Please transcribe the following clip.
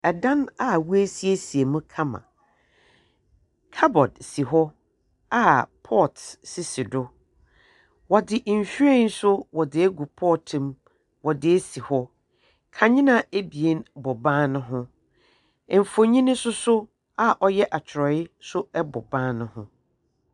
Dan a wɔesiesie mu kama, cupboard si hɔ a pots sisi do. Wɔdze nhwiren nso wɔdze egu pot mu wɔdze esi hɔ kandzea ebien bɔ ban no ho. Mfonyin nso a ɔyɛ akyerɛwee bɔ ban no ho.